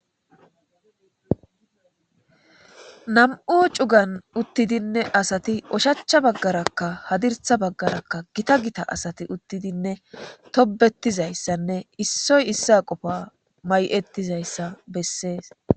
Nam7u cugan uththidinne asathi ushachcha baggarakka hadirssa baggarakka githa githa asathi uthidinne thobbeththizayssanne issoy issuwa qofaa may7eththi zayssa bessees.